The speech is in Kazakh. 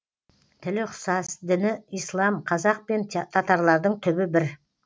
тілі ұқсас діні ислам қазақ пен татарлардың түбі бір